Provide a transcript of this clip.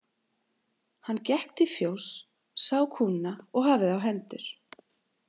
Hann gekk til fjóss, sá kúna og hafði á hendur.